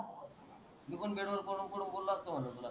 मी पण बेड वर पडु पडु बोलो अस्तो मनल तुला.